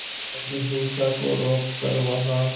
ताकि हिंसा को रोक कर वहां